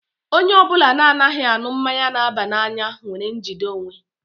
Onye ọbụla na-anaghị aṅụ mmanya na-aba n'anya nwere njide onwe.